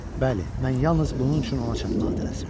Bəli, mən yalnız bunun üçün ona çatmağa tələsirdim.